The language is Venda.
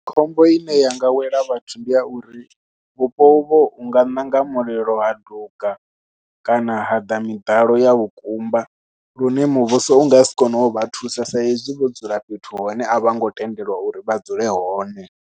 Khombo ine ya nga wela vhathu ndi ya uri vhupo uvho vhu nga ṋanga mulilo ha duga kana ha ḓa miḓalo ya vhukumba lune muvhuso u nga si kone u vha thusa sa hezwi vho dzula fhethu hune a vha ngo tendelwa uri vha dzule hone.